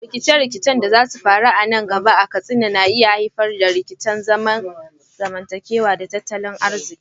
Rikice-rikicen da za su faru nan gaba a Katsina na iya haifar da rikicin zamantakewa da tattalin arziki.